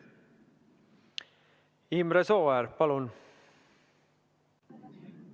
Imre Sooäär, palun!